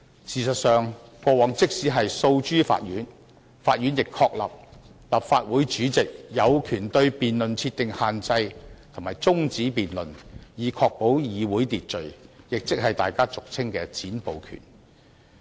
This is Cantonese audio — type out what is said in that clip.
事實上，過往即使訴諸法院，法院亦確立立法會主席有權對辯論設定限制及中止辯論，以確保議會秩序，亦即是大家俗稱的"'剪布'權"。